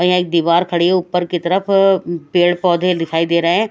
यहां एक दीवार खड़ी है ऊपर की तरफ पेड़ पौधे दिखाई दे रहे है।